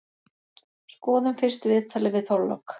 Skoðum fyrst viðtalið við Þorlák.